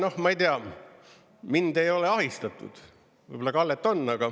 Noh, ma ei tea, mind ei ole ahistatud, võib-olla Kallet on.